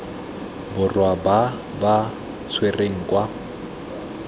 borwa ba ba tshwerweng kwa